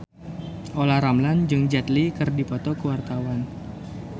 Olla Ramlan jeung Jet Li keur dipoto ku wartawan